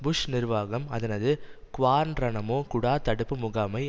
push நிர்வாகம் அதனது Guantanamo குடா தடுப்பு முகாமை